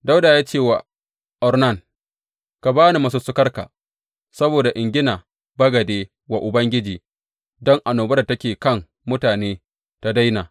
Dawuda ya ce wa Ornan, Ka ba ni masussukarka saboda in gina bagade wa Ubangiji, don annobar da take kan mutane tă daina.